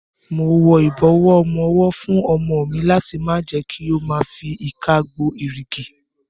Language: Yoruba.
Mo wọ ìbọ̀wọ́ ọmọwọ́ fún ọmọ mi láti má jẹ kí ó ma fi ìka gbo èrìgì.